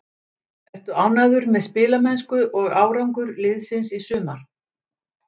Ertu ánægður með spilamennsku og árangur liðsins í sumar?